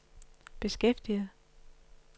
beskæftiget